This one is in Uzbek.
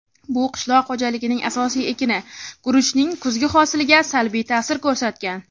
bu qishloq xo‘jaligining asosiy ekini — guruchning kuzgi hosiliga salbiy ta’sir ko‘rsatgan.